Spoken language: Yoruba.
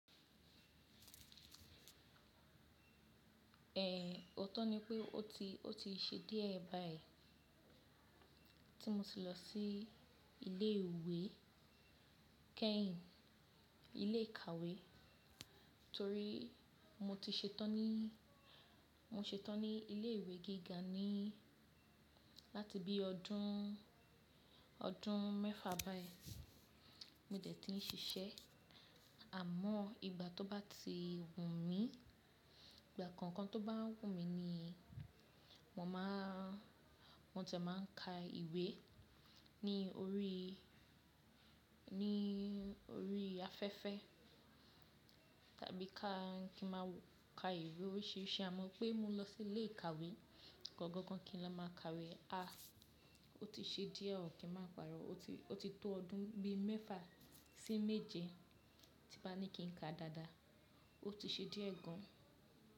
È, ọtọ ni pé ó ti, ó ti ṣe díẹ̀ báyìí tí mo ti lọ sí ilé ìwé kẹ́hìn, ilé ìkàwé torí mo ti ṣetán ní, mo ṣetán ní ilé ìwé gíga ní láti bí ọdún, ọdún mẹ́fà báyìí mo dẹ̀ ti ń ṣiṣẹ́. Àmọ́ ìgbà tó bá ti wù mí, ìgbà kankan tó bá wù mí ni mo máa, mo tì máa ka ìwé ní orí, ní orí afẹ́fẹ́ tàbí kí ma ka ìwé oríṣìíríṣìí. A mọ̀ pé mó n lọ sí ilé ìkàwé gangan kí n máa ka ìwé. Às, ó ti ṣe díẹ̀, kí n máa paro, ó ti tó ọdún bí mẹ́fà sí méje tí ba ní kí ń ka dáadáa, ó ti ṣe díẹ̀ gan.